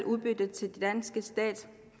udbytte til den danske stat